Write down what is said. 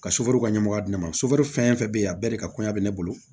Ka ka ɲɛmɔgɔya di ne ma fɛn fɛn bɛ yen a bɛɛ de ka kɔɲa bɛ ne bolo